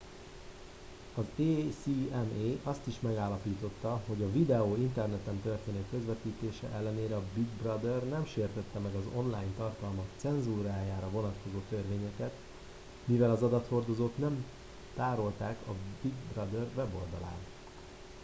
az acma azt is megállapította hogy a videó interneten történő közvetítése ellenére a big brother nem sértette meg az online tartalmak cenzúrájára vonatkozó törvényeket mivel az adathordozót nem tárolták a big brother weboldalán